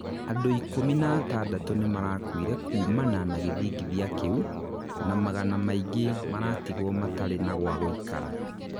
andu ikũmi na atandatũ nimarakuire kumana na gĩthĩngithia kĩu, na magana maingĩ maratigwo matarĩ na gwa gũikara.